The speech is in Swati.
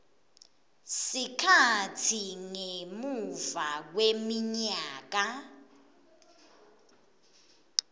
sikhatsi ngemuva kweminyaka